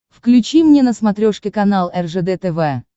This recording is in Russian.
включи мне на смотрешке канал ржд тв